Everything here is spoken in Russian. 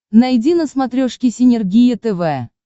найди на смотрешке синергия тв